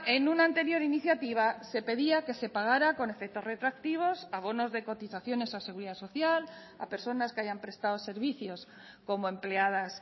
en una anterior iniciativa se pedía que se pagara con efectos retroactivos abonos de cotizaciones a seguridad social a personas que hayan prestado servicios como empleadas